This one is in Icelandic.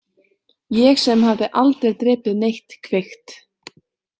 Ég sem hafði aldrei drepið neitt kvikt?